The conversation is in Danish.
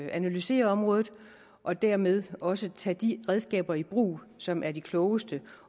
analysere området og dermed også tage de redskaber i brug som er de klogeste